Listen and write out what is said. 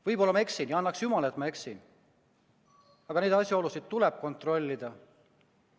Võib-olla ma eksin, ja annaks jumal, et ma eksin, aga neid asjaolusid tuleb kontrollida.